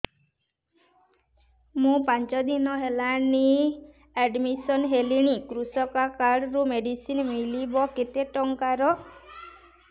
ମୁ ପାଞ୍ଚ ଦିନ ହେଲାଣି ଆଡ୍ମିଶନ ହେଲିଣି କୃଷକ କାର୍ଡ ରୁ ମେଡିସିନ ମିଳିବ କେତେ ଟଙ୍କାର